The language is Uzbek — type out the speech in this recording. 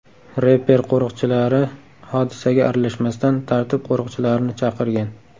Reper qo‘riqchilari hodisaga aralashmasdan, tartib qo‘riqchilarini chaqirgan.